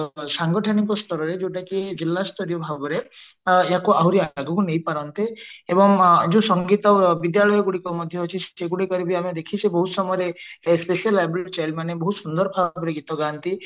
ସାଙ୍ଗଠନିକ ଯୋଉଟା କି ଜିଲ୍ଲା ସ୍ତରୀୟ ଭାବରେ ୟାକୁ ଆହୁରି ଆଗକୁ ନେଇ ପାରନ୍ତେ ଏବଂ ଯୋଉ ସଙ୍ଗୀତ ବିଦ୍ୟାଳୟ ଗୁଡିକ ମଧ୍ୟ ଅଛି ସେଗୁଡିକରେ ଆମେ ଦେଖିଛେ ବହୁତ ସମୟରେ specially abled child ମାନେ ବହୁତ ସୁନ୍ଦର ଭାବରେ ଗୀତ ଗାନ୍ତି